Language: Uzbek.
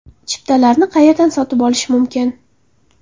Chiptalarni qayerdan sotib olish mumkin?